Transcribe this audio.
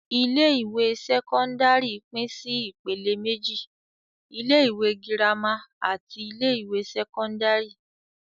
Ilé-ìwé sẹ́kọ́ndárì pín sí ìpèlè méjì. Ilé-ìwé girama àti ilé-ìwé sẹ́kọ́ndárì.